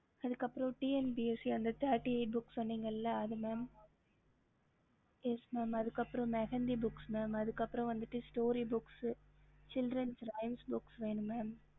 ஹம்